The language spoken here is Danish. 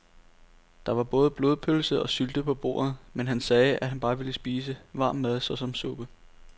Der var både blodpølse og sylte på bordet, men han sagde, at han bare ville spise varm mad såsom suppe.